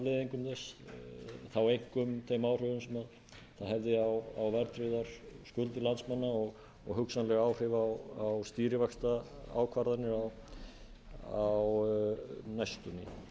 hliðarafleiðingum þess þá einkum þeim áhrifum sem það hefði á verðtryggðar skuldir landsmanna og hugsanleg áhrif á stýrivaxtaákvarðanir á næstunni